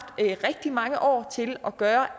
rigtig mange år til at gøre